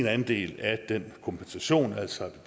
andel af den kompensation altså